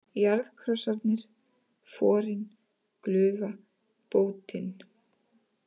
Jarðkrossarnir, Forin, Glufa, Bótin